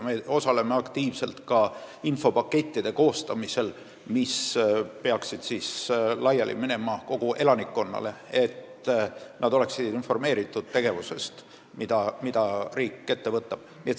Me osaleme aktiivselt ka nende infopakettide koostamisel, mis peaks laiali saadetama kogu elanikkonnale, et inimesed oleksid informeeritud, mida riik ette võtab.